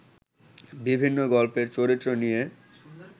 বিভিন্ন গল্পের চরিত্র নিয়ে